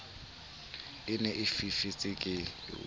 e ne e fifetse ke